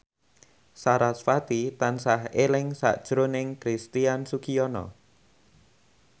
sarasvati tansah eling sakjroning Christian Sugiono